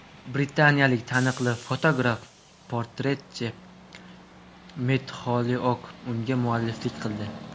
Britaniyalik taniqli fotograf-portretchi Mett Xoliouk unga mualliflik qildi.